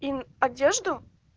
им одежду